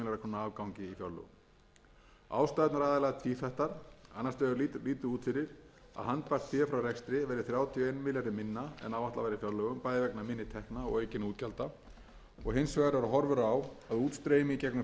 afgangi í fjárlögum ástæðurnar eru aðallega tvíþættar annars vegar lítur út fyrir að handbært fé frá rekstri verði þrjátíu og einum milljarði minna en áætlað var í fjárlögum bæði vegna minni tekna og aukinna útgjalda og hins vegar eru horfur á að útstreymi í gegnum